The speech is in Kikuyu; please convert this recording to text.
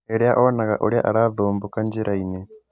Rĩria onaga ũrĩa arathumbũka njĩrainĩ